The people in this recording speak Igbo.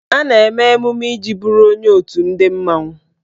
A na-eme emume iji bụrụ onye otù ndị mmanwụ.